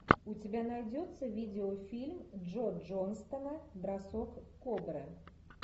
у тебя найдется видеофильм джо джонстона бросок кобры